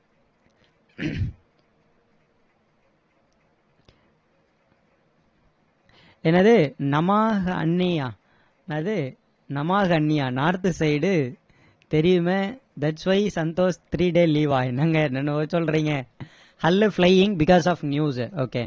என்னது நமா அண்ணியா என்னது நமாஸ் அண்ணியா north side டு தெரியுமே thats why Santosh three day leave வா என்னங்க என்னென்னமோ சொல்றீங்க hall flying because of news okay